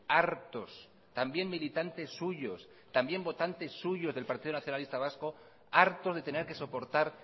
hartos también militantes suyos también votantes suyos del partido nacionalista vasco hartos de tener que soportar